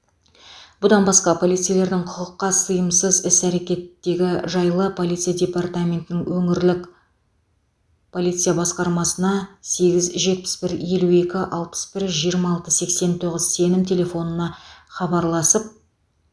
бұдан басқа полицейлердің құқыққа сыйымсыз іс әрекеттегі жайлы полиция департаментінің өңірлік полиция басқармасына сегіз жетпіс бір елу екі алпыс бір жиырма алты сексен тоғыз сенім телефонына хабарласып